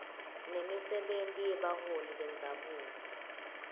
nemisebenti yebaholi bendzabuko